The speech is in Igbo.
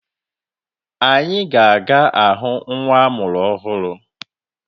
Anyi ga aga ahụ nwa amụrụ ọhụrụ.